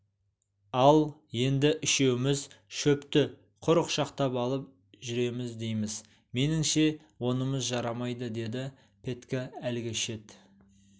ал енді үшеуміз шөпті құр құшақтап алып жүреміз дейміз меніңше онымыз жарамайды деді петька әлгі шет